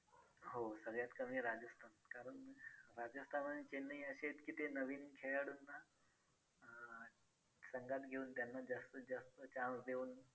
आपली तर्कमध्ये बाजूला ठेवून या पुस्तकात दिलेले छोटे छोटे प्रयोग आवश्यक करून अ बघा .एका छोट्याशा गायकना पासून सुरुवात करुया एकदा गायसुवीच्या श्रेष्ठ आणि भांडण झाले.